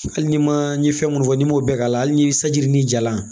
Hali ni ma ye fɛn mun fɔ n'i m'o bɛɛ k'a la hali ni saji ni ja la